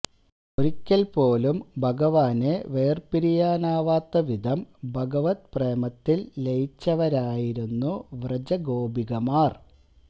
ഒരിക്കല് പോലും ഭഗവാനെ വേര്പിരിയാനാവാത്ത വിധം ഭഗവത് പ്രേമത്തില് ലയിച്ചവരായിരുന്നു വ്രജഗോപികമാര്